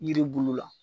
Yiri bulu la